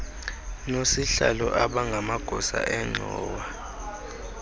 nosihlalo abangamagosa engxowa